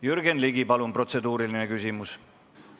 Jürgen Ligi, palun protseduuriline küsimus!